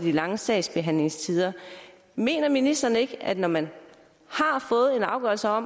lange sagsbehandlingstider mener ministeren ikke at når man har fået en afgørelse og